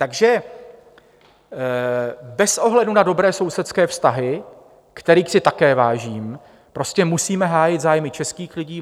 Takže bez ohledu na dobré sousedské vztahy, kterých si také vážím, prostě musíme hájit zájmy českých lidí.